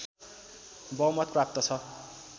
बहुमत प्राप्त छ